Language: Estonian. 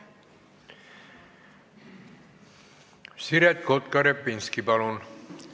Siret Kotka-Repinski, palun!